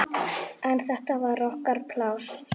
En þetta var okkar pláss.